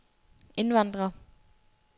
indvandrere